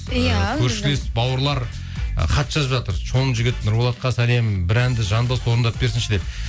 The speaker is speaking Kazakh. иә көршілес бауырлар ы хат жазып жатыр нұрболатқа сәлем бір әнді жанды дауыста орындап берсінші деп